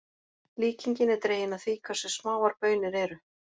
Líkingin er dregin af því hversu smáar baunir eru.